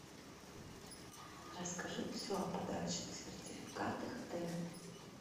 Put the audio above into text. расскажи все о подарочных сертификатах отеля